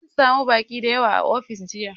Mun sami baƙi da yawa a ofis jiya